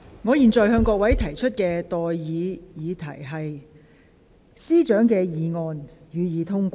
我現在向各位提出的待議議題是：政務司司長動議的議案，予以通過。